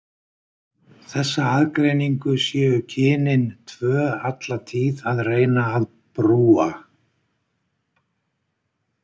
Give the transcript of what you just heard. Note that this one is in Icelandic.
Þessa aðgreiningu séu kynin tvö alla tíð að reyna að brúa.